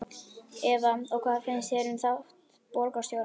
Eva: Og hvað finnst þér um þátt borgarstjórans?